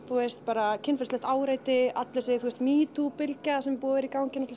þú veist bara kynferðislegt áreiti öll þessi metoo bylgja sem er búin að vera í gangi